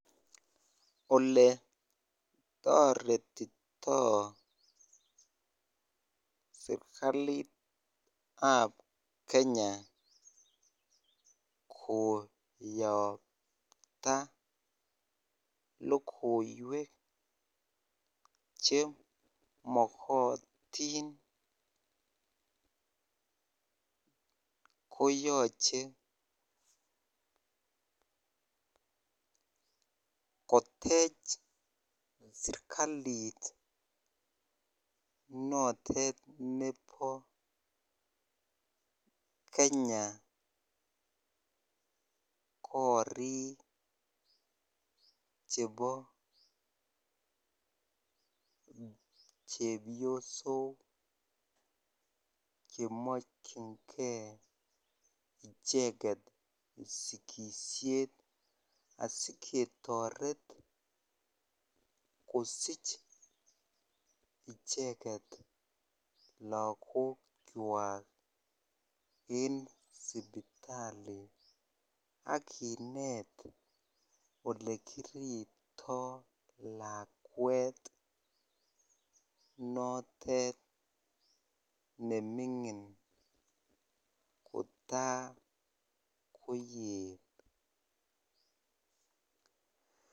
Ole toretitoo serikalitab kenya koyapta logoiwek chemokotin koyoche kotech serikalit notet nebo kenya korik chebo chebiosok chemokyingee icheket sigisiet asiketoret kosich icheket lagokwak en sipitali akinet olekiripto lakwet notet neming'in kotakoyet.